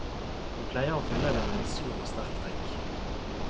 Vi pleier å fylle det med en sur og sterk drikk.